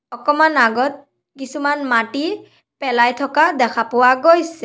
অকমান আগত কিছুমান মাটি পেলাই থকা দেখা পোৱা গৈছে।